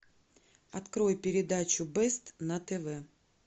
открой передачу бест на тв